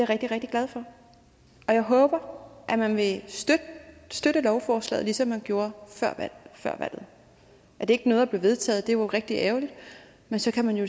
rigtig rigtig glad for og jeg håber at man vil støtte lovforslaget ligesom man gjorde før valget at det ikke nåede at blive vedtaget er rigtig ærgerligt men så kan man jo